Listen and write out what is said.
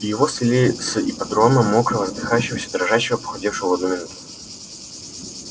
его свели с ипподрома мокрого задыхающегося дрожащего похудевшего в одну минуту